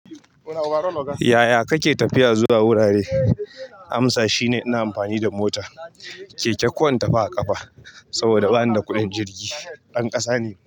Yaya kake tafiya zuwa wurare? Amsa shine ina amfani da mota. Keke ko in tafi a ƙafa, saboda banida kuɗin jirgi. Ɗan ƙasa ne.